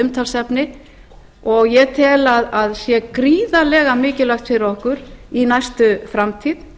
umtalsefni og ég tel að sé gríðarlega mikilvægt fyrir okkur í næstu framtíð